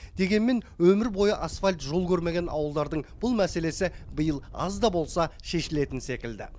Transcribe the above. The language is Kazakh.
дегенмен өмір бойы асфальт жол көрмеген ауылдардың бұл мәселесі биыл аз да болса шешілетін секілді